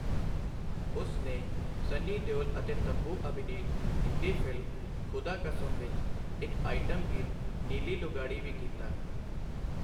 ਉਸ ਨੇ ਸੰਨੀ ਦਿਓਲ ਅਤੇ ਤੱਬੂ ਅਭਿਨੀਤ ਹਿੰਦੀ ਫਿਲਮ ਖੁਦਾ ਕਸਮ ਵਿੱਚ ਇੱਕ ਆਈਟਮ ਗੀਤ ਨੀਲੀ ਲੁਗਾੜੀ ਵੀ ਕੀਤਾ।